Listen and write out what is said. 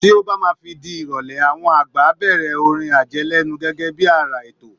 Tí ó bá máa fi di ìrọ̀lẹ́, àwọn àgbà á bẹ̀rẹ̀ orin àjẹlẹ́nu gẹ́gẹ́ bí ara ètò